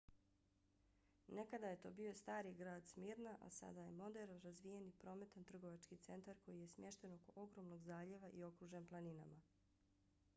nekada je to bio stari grad smyrna a sada je moderan razvijen i prometan trgovački centar koji je smješten oko ogromnog zaljeva i okružen planinama